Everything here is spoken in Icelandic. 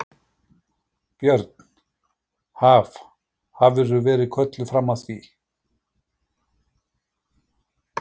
Björn: Haf, hafðirðu verið kölluð fram að því?